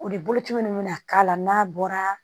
O de boloci minnu bɛna k'a la n'a bɔra